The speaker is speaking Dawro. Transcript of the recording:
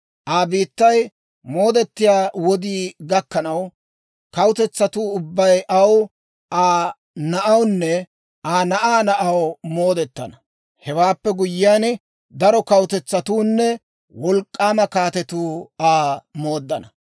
Aa biittay moodettiyaa wodii gakkanaw, kawutetsatuu ubbay aw, Aa na'awunne Aa na'aa na'aw moodetana. Hewaappe guyyiyaan, daro kawutetsatuunne wolk'k'aama kaatetuu Aa mooddana.